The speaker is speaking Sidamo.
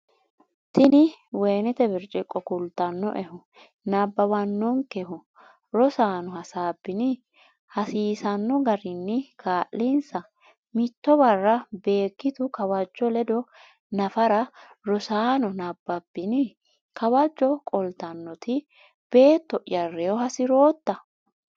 tini woyinete birciqo kulannoehu? nabbawanonnkehu? Rosaano hasaabbini? hasiisanno garinni kaa’linsa. Mitto barra Beeggitu Kawajjo ledo nafara Rosaano nabbabbini? Kawajjo qoltannoti, “Beetto’ya reyo hasi’rootta?